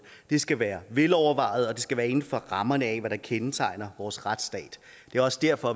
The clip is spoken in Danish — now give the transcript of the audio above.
det skal være velovervejet og det skal være inden for rammerne af hvad der kendetegner vores retsstat det er også derfor